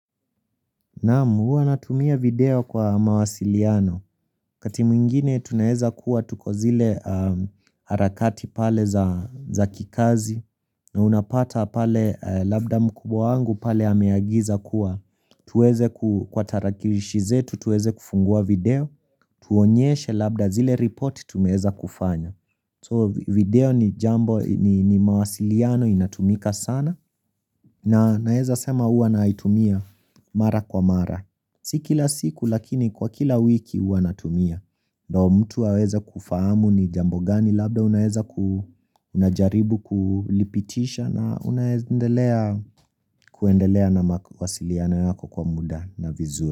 Naamu, hua natumia video kwa mawasiliano. Wakati mwingine, tuna heza kuwa tuko zile harakati pale za kikazi. Na unapata pale labda mkubwa wangu pale hameagiza kuwa. Tuweze kwa tarakirishi zetu, tuweze kufungua video. Tuonyeshe labda zile report tumeheza kufanya. So video ni jambo ni mawasiliano inatumika sana. Na naeza sema hua naitumia mara kwa mara. Si kila siku lakini kwa kila wiki uwanatumia. Ndo mtu waweza kufahamu ni jambo gani labda unaweza kunajaribu kulipitisha na unaweza kuendelea na wasiliana yako kwa muda na vizuri.